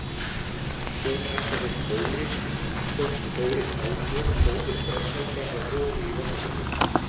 Sonur Atla hét Þórir, dóttir Þóris Ásvör, móðir Brodd-Helga á Hofi í Vopnafirði.